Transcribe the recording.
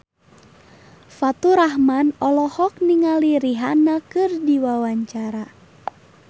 Faturrahman olohok ningali Rihanna keur diwawancara